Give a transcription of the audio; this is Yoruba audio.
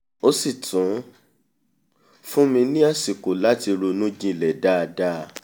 ó sì tún fún mi ní àsìkò láti ronú jinlẹ̀ dáadáa